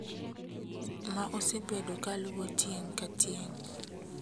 ma osebedo kaluwo tieng' ka tieng'.